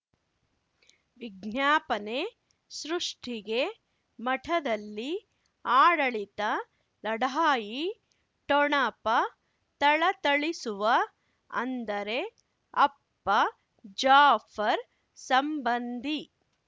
ವಿಜ್ಞಾಪನೆ ಸೃಷ್ಟಿಗೆ ಮಠದಲ್ಲಿ ಆಡಳಿತ ಲಢಾಯಿ ಠೊಣಪ ಥಳಥಳಿಸುವ ಅಂದರೆ ಅಪ್ಪ ಜಾಫರ್ ಸಂಬಂಧಿ